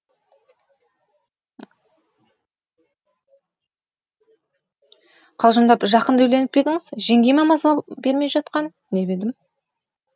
қалжындап жақында үйленіп па едіңіз жеңгей ма маза бермей жатқан деп едім